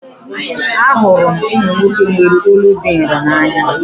Ahụrụ m ụmụ nwoke nwere olu dị nro n'anya